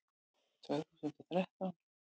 Tvö þúsund og þrettán